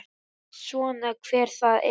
Veit svona hver það er.